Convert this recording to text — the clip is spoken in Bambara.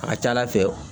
A ka ca ala fɛ